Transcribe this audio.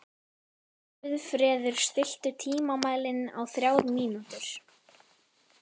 Guðfreður, stilltu tímamælinn á þrjár mínútur.